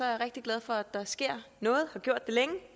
rigtig glad for at der sker noget har gjort det længe og